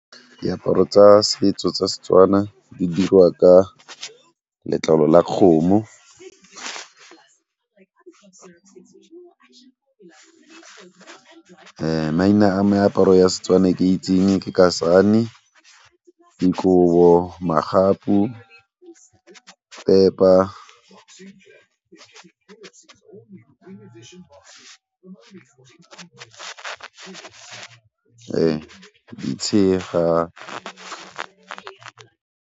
Diaparo tsa setso tsa Setswana di dirwa ka letlalo la kgomo maina a meaparo ya Setswana ke itseng ke kasane, dikobo, magapu, pepa tshega.